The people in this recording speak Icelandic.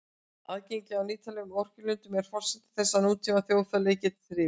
Aðgengi að nýtanlegum orkulindum er forsenda þess að nútíma þjóðfélag geti þrifist.